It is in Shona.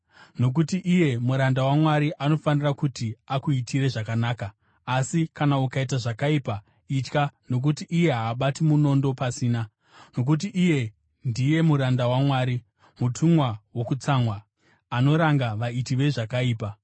Nokuti iye muranda waMwari anofanira kuti akuitire zvakanaka. Asi kana ukaita zvakaipa, itya, nokuti iye haabati munondo pasina. Nokuti iye ndiye muranda waMwari, mutumwa wokutsamwa, anoranga vaiti vezvakaipa.